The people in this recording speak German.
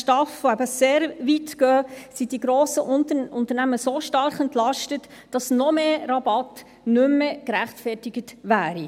STAF, die eben sehr weit gehen, sind die grossen Unternehmen so stark entlastet, dass noch mehr Rabatt nicht mehr gerechtfertigt wäre.